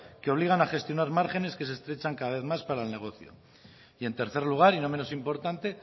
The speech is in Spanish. que obligan a gestionar márgenes que se estrechan cada vez más para el negocio y en tercer lugar y no menos importante